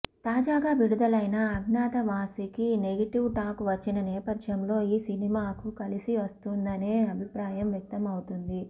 తాజాగా విడుదలైన అజ్ఞాతవాసికి నెగటివ్ టాక్ వచ్చిన నేపథ్యంలో ఈ సినిమాకు కలిసి వస్తుందనే అభిప్రాయం వ్యక్తం అవుతుంది